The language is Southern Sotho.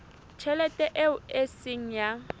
tjhelete eo e seng ya